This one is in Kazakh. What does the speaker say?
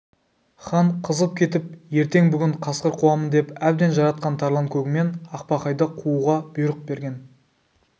хан қызып кетіп ертең бүгін қасқыр қуамын деп әбден жаратқан тарланкөгімен ақбақайды қууға бұйрық берген